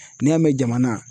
N'i y'a mɛn jamana